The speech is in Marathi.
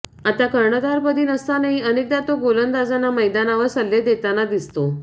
आता कर्णधारपदी नसतानाही अनेकदा तो गोलंदाजांना मैदानावर सल्ले देताना दिसतो